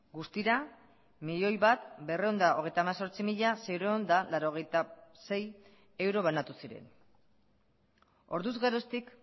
guztira milioi bat berrehun eta hogeita hemezortzi mila seiehun eta laurogeita sei euro banatu ziren orduz geroztik